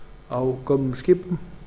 á gömlum skipum